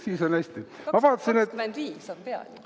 2025 on peal ju.